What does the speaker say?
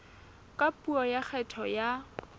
ka puo ya kgetho ya